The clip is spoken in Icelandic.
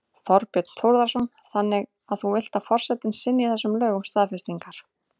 Þorbjörn Þórðarson: Þannig að þú vilt að forsetinn synji þessum lögum staðfestingar?